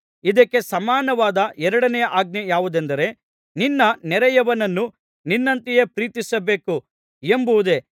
ಇದಕ್ಕೆ ಸಮಾನವಾದ ಎರಡನೆಯ ಆಜ್ಞೆ ಯಾವುದೆಂದರೆ ನಿನ್ನ ನೆರೆಯವನನ್ನು ನಿನ್ನಂತೆಯೇ ಪ್ರೀತಿಸಬೇಕು ಎಂಬುದೇ